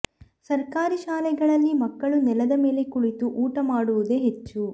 ಸರ್ಕಾರಿ ಶಾಲೆಗಳಲ್ಲಿ ಮಕ್ಕಳು ನೆಲದ ಮೇಲೆ ಕುಳಿತು ಊಟ ಮಾಡುವುದೇ ಹೆಚ್ಚು